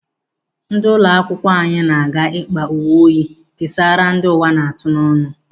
Ndị ụlọ akwụkwọ anyị na-aga ịkpa uwe oyi kesaara ndi ụwa na-atụ n'ọnu.